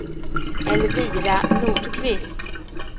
Elvira Nordqvist